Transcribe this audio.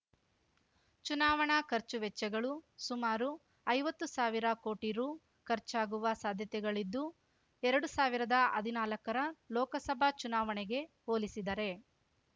ಚುನಾವಣಾ ಖರ್ಚುವೆಚ್ಚಗಳು ಸುಮಾರು ಐವತ್ತು ಸಾವಿರ ಕೋಟಿ ರೂ ಖರ್ಚಾಗುವ ಸಾಧ್ಯತೆಗಳಿದ್ದು ಎರಡು ಸಾವಿರದ ಹದಿನಾಲ್ಕರ ಲೋಕಸಭಾ ಚುನಾವಣೆಗೆ ಹೋಲಿಸಿದರೆ